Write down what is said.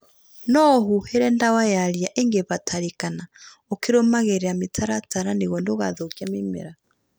Noũhuhĩre dawa ya ria ĩngĩbatarĩkana ukĩrũmagĩrĩra mĩtaratara nĩguo ndũgathũkie mĩmera